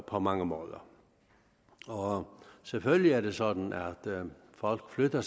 på mange måder selvfølgelig er det sådan at folk flytter